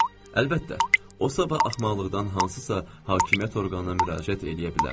Əlbəttə, o sabah axmaqlıqdan hansısa hakimiyyət orqanına müraciət eləyə bilərdi.